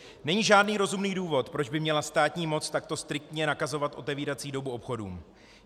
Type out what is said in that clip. Není žádný rozumný důvod, proč by měla státní moc takto striktně nakazovat otevírací dobu obchodům.